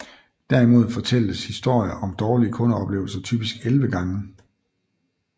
Derimod fortælles historier om dårlige kundeoplevelser typisk 11 gange